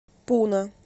пуна